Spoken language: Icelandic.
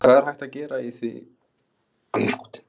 En hvað er hægt að gera við því núna?